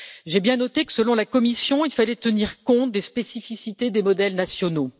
J'ai bien noté que, selon la Commission, il fallait tenir compte des spécificités des modèles nationaux.